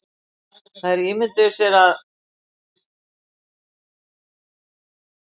Þær ímynduðu sér að